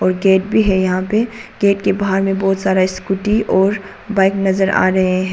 Gate भी है यहां पे गेट के बाहर में बहुत सारा स्कूटी और बाइक नजर आ रहे हैं।